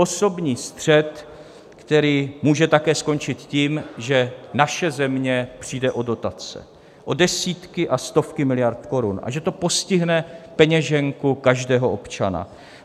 Osobní střet, který může také skončit tím, že naše země přijde o dotace, o desítky a stovky miliard korun, a že to postihne peněženku každého občana.